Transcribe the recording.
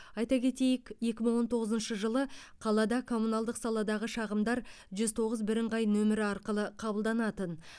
айта кетейік екі мың он тоғызыншы жылы қалада коммуналдық саладағы шағымдар жүз тоғыз бірыңғай нөмірі арқылы қабылданатын